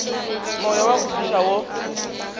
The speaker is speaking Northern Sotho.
moya wa go fiša wo